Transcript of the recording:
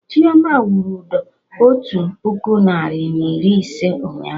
Chioma wụrụ ụdọ otu puku narị na iri ise ụnyaahụ